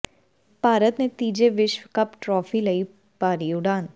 ਭਾਰਤ ਨੇ ਤੀਜੀ ਵਿਸ਼ਵ ਕੱਪ ਟਰਾਫੀ ਲਈ ਭਰੀ ਉਡਾਣ